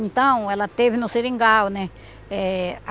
Então, ela teve no seringal, né? Eh